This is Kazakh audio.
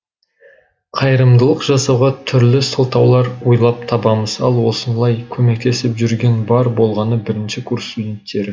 қайырымдылық жасауға түрлі сылтаулар ойлап табамыз ал осылай көместесіп жүрген бар болғаны бірінші курс студенттері